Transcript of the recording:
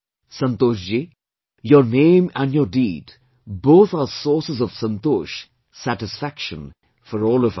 Santosh Ji, your name and your deed both are sources of SANTOSH, satisfaction for all of us